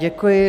Děkuji.